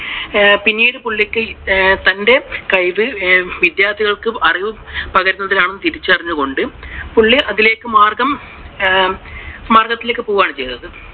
പിന്നീട് പുള്ളിക്ക് തന്റെ കഴിവ് വിദ്യാർത്ഥികൾക്ക് അറിവ് പകരുന്നതിലാണ് എന്ന് തിരിച്ചറിഞ്ഞതുകൊണ്ടു പുള്ളി അതിലേക്കു മാർഗം മാർഗത്തിലേക്ക് പോകുകയാണ് ചെയ്തത്.